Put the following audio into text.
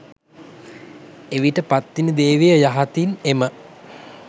එවිට පත්තිනි දේවිය යහතින් එම